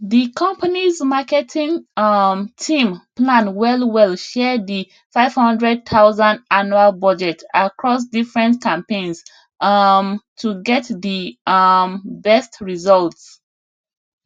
the companys marketing um team plan well well share the 500000 annual budget across different campaigns um to get the um best results